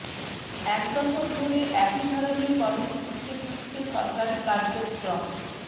এক দশক ধরে একই ধরনের কর্মসূচিতে ঘুরছে সরকারি কার্যক্রম